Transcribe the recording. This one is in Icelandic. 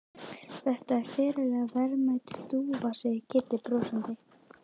Þetta er ferlega verðmæt dúfa segir Kiddi brosandi.